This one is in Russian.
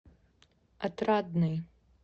отрадный